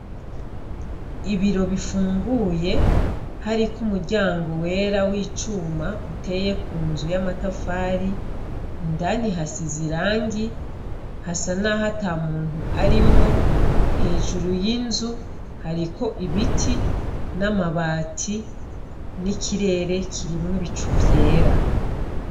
Ibiro bifunguye hariko umuryango wera w'icuma uteye ku nzu y'amatafari, indani hasize irangi hasa nkaho ata muntu arimwo, hejuru y'inzu hariko ibiti n'amabati n'ikirere kirimwo ibicu vyera.